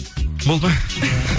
болды ма